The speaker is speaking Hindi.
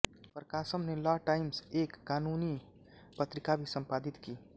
प्रकाशम ने लॉ टाइम्स एक कानूनी पत्रिका भी संपादित की